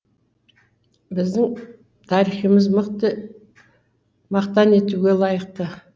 біздің тарихымыз мақтан етуге лайықты